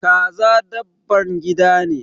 Kaza dabban gida ne.